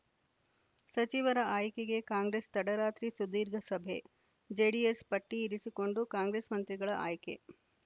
ಸಚಿವರ ಆಯ್ಕೆಗೆ ಕಾಂಗ್ರೆಸ್‌ ತಡರಾತ್ರಿ ಸುದೀರ್ಘ ಸಭೆ ಜೆಡಿಎಸ್‌ ಪಟ್ಟಿ ಇರಿಸಿಕೊಂಡು ಕಾಂಗ್ರೆಸ್‌ ಮಂತ್ರಿಗಳ ಆಯ್ಕೆ